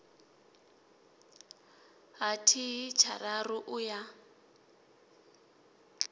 ha thihi tshararu u ya